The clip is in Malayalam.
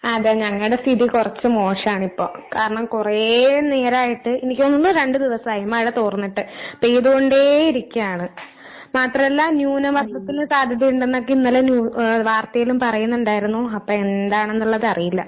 അതെ ഞങ്ങടെ സ്ഥിതി കൊറച്ച് മോശാണിപ്പോ. കാരണം കൊറേ നേരായിട്ട്, എനിക്ക് തോന്നുന്നു രണ്ട് ദിവസായി മഴ തോർന്നിട്ട്, പെയ്തോണ്ടേ ഇരിക്കാണ്. മാത്രാല്ലാ ന്യൂനമർദ്ദത്തിന് സാധ്യതയിണ്ടെന്നൊക്കെ ഇന്നലെ ന്യൂ ഏ വാർത്തേലും പറയുന്നിണ്ടായിരുന്നു. അപ്പ എന്താണ്ന്നിള്ളതറിയില്ല.